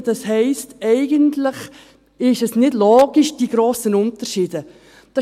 Das heisst, eigentlich sind diese grossen Unterschiede nicht logisch.